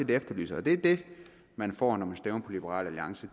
vi efterlyser og det er det man får når man stemmer på liberal alliance